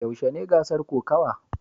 Yaushe ne gasar kokawa?